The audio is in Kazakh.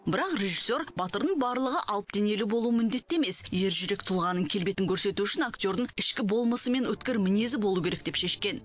бірақ режиссер батырдың барлығы алып денелі болуы міндетті емес ержүрек тұлғаның келбетін көрсету үшін актердің ішкі болмысы мен өткір мінезі болу керек деп шешкен